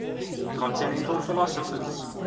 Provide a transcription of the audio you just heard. continental philosophers